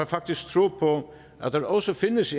faktisk tro på at der også findes